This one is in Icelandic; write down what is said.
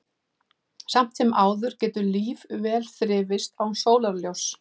Samt sem áður getur líf vel þrifist án sólarljóss.